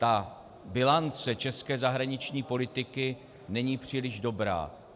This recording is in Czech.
A bilance české zahraniční politiky není příliš dobrá.